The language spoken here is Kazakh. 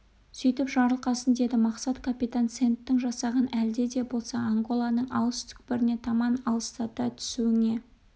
сөйтіп жарылқасын деді мақсат капитан сэндтің жасағын әлде де болса анголаның алыс түкпіріне таман алыстата түсуіңе